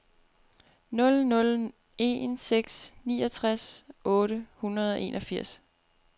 nul nul en seks niogtres otte hundrede og enogfirs